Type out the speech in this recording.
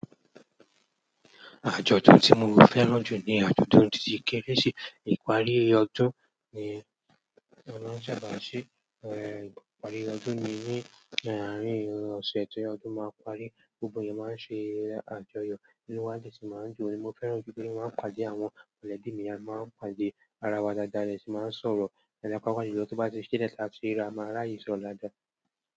Àjọ̀dún tí mo fẹ́ràn jù ni àjọ̀dún tí kereṣi ìparí ọdún ni a máa ń ṣàbà se. Ìparí ọdún ni ní àárín ọ̀sẹ̀ tí ọdún máa parí. Gbogbo yẹn máa ń ṣe àjọyọ̀, inúwá de sì máa ń dun. Ni mo fẹ́ràn jù pé kí wọ́n máa pàdé àwọn mọ̀lẹ́bí mi, a máa ń pàdé ara wa dada, adesi máa ń sọ̀rọ̀, ẹlẹ̀kápa bayi lo tó bá ti ṣilẹ̀ tàti rira, máa ràye sọ̀rọ̀ daadáà.